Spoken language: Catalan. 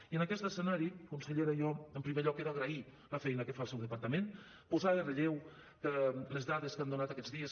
i en aquest escenari consellera jo en primer lloc he d’agrair la feina que fa el seu departament posar en relleu que les dades que han donat aquests dies